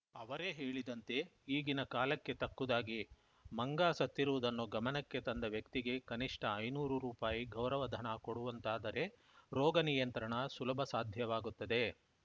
ಅವರೇ ಹೇಳಿದಂತೆ ಈಗಿನ ಕಾಲಕ್ಕೆ ತಕ್ಕುದಾಗಿ ಮಂಗ ಸತ್ತಿರುವುದನ್ನು ಗಮನಕ್ಕೆ ತಂದ ವ್ಯಕ್ತಿಗೆ ಕನಿಷ್ಠ ಐನೂರು ರೂಪಾಯಿ ಗೌರವಧನ ಕೊಡುವಂತಾದರೆ ರೋಗ ನಿಯಂತ್ರಣ ಸುಲಭಸಾಧ್ಯವಾಗುತ್ತದೆ